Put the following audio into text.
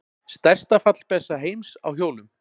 Stærsta fallbyssa heims á hjólum.